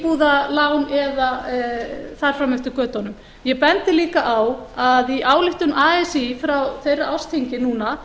íbúðalán eða þar fram eftir götunum ég bendi líka á að í ályktun así frá þeirra ársþingi núna